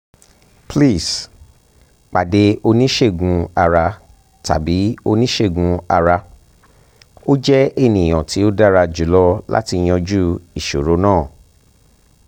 pls pade onisegun-ara tabi onisegun-ara o jẹ eniyan ti o dara julọ lati yanju iṣoro naa